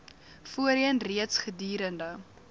voorheen reeds gedurende